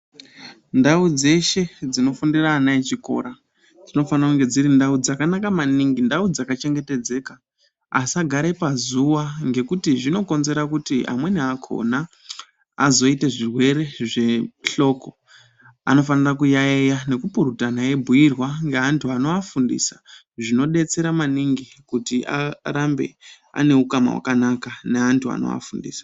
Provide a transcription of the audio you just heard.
Ndau dzeshe dzinofundire ana echikora dzinofanire kunge dziri ndau dzakanaka maningi ndau dzakachengetedzeka asagare pazuwa ngekuti zveinokonzera kuti amweni akhona azoite zvirwere zvehloko anofanire kuyayeya nekupurutana veibhuirwa ngeantu anoafundisa zvidetsera maningi kuti arambe ane ukama hwakanaka neantu anoafundisa.